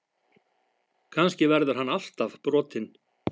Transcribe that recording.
Kannski verður hann alltaf brotinn.